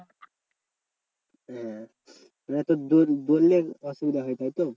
হ্যাঁ মানে তোর দৌড়~ দৌড়লে অসুবিধা হয় তাই তো?